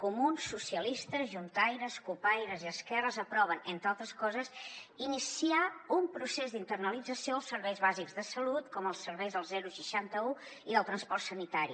comuns socialistes juntaires cupaires i esquerres aproven entre altres coses iniciar un procés d’internalització dels serveis bàsics de salut com els serveis del seixanta un i del transport sanitari